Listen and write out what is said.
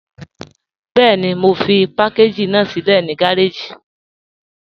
Bẹẹ̀ni, mo fi pàkàgí ná silẹ̀ ni gàràjì.